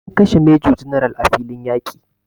An kashe major general a filiin yaƙi